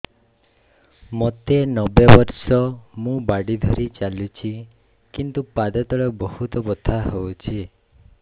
ମୋତେ ନବେ ବର୍ଷ ମୁ ବାଡ଼ି ଧରି ଚାଲୁଚି କିନ୍ତୁ ପାଦ ତଳ ବହୁତ ବଥା ହଉଛି